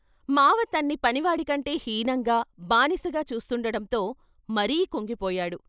మామ తన్ని పని వాడి కంటే హీనంగా, బానిసగా చూస్తుండటంతో మరీ కుంగిపోయాడు.